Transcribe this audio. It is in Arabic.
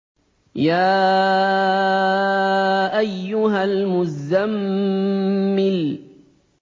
يَا أَيُّهَا الْمُزَّمِّلُ